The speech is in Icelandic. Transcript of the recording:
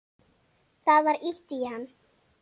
Það var ýtt á hann.